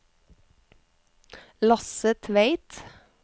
Lasse Tveit